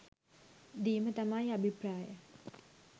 දීම තමයි අභිප්‍රාය